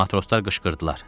Matroslar qışqırdılar.